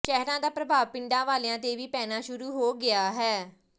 ਸ਼ਹਿਰਾਂ ਦਾ ਪ੍ਰਭਾਵ ਪਿੰਡਾਂ ਵਾਲਿਆਂ ਤੇ ਵੀ ਪੈਣਾ ਸ਼ੁਰੂ ਹੋ ਗਿਆ ਹੈ